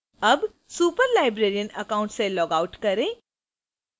अब superlibrarian account से logout करें